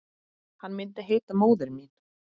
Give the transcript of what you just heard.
Hann myndi heita Móðir mín.